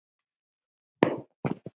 Hefur þig dreymt?